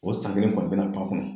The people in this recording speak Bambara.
O san kelen kɔni bɛna pan a kunna